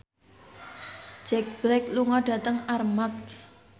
Jack Black lunga dhateng Armargh